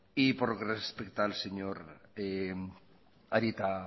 por lo que le respecta al señor arieta